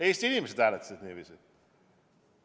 Eesti inimesed hääletasid niiviisi.